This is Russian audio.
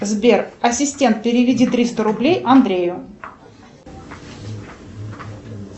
сбер ассистент переведи триста рублей андрею